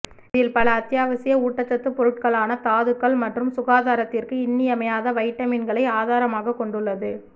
இதில் பல அத்தியாவசிய ஊட்டச்சத்து பொருட்களான தாதுக்கள் மற்றும் சுகாதாரத்திற்கு இன்னியமையாத வைட்டமின்களை ஆதாரமாக கொண்டுள்ளது